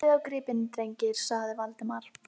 Lítið á gripina, drengir! sagði Valdimar.